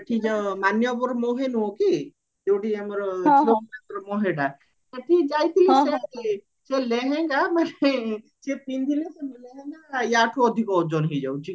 ଆମର ଏଠି ଯୋଉ ମାନ୍ୟବର ମହେ ନୁହଁ କି ଯାଉଠି ଆମର ଝିଅ ପିଲାଙ୍କର ମହେଟା ସେଠଠି ଯାଇଥିଲି ସେ ଲେହେଙ୍ଗା ମାନେ ସିଏ ପିନ୍ଧିଲେ ୟାଠୁ ଅଧିକ ଓଜନ ହେଇଯାଉଚି